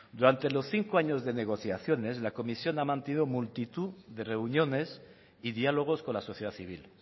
durante los cinco años de negociaciones la comisión ha mantenido multitud de reuniones y diálogos con la sociedad civil